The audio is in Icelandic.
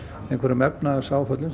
efnahagsáföllum sem